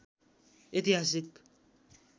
ऐतिहासिक